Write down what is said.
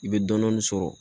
I bɛ dɔnni sɔrɔ